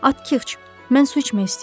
Atxıç, mən su içmək istəyirəm.